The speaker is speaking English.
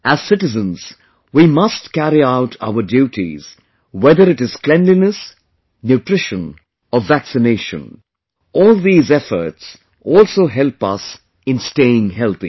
As citizens, we must carry out our duties, whether it is cleanliness, nutrition or vaccination... all these efforts also help us in staying healthy